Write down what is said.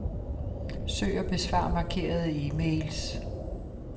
Søg og besvar markerede e-mails.